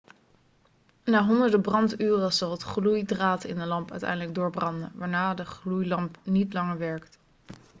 na honderden branduren zal het gloeidraad in de lamp uiteindelijk doorbranden waarna de gloeilamp niet langer werkt